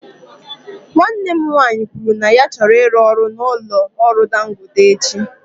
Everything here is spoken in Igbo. Nwanne m nwanyị kwuru na ya chọrọ ịrụ ọrụ na ụlọ ọrụ dangote echi.